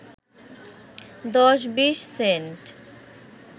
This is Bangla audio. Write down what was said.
দশ-বিশ সেন্ট